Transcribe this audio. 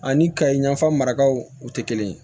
Ani ka yanfa marakaw o tɛ kelen ye